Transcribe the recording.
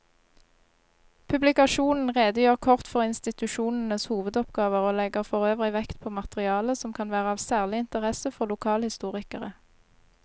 Publikasjonen redegjør kort for institusjonenes hovedoppgaver og legger forøvrig vekt på materiale som kan være av særlig interesse for lokalhistorikere.